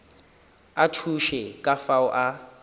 a thuše ka fao a